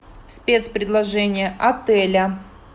спецпредложения отеля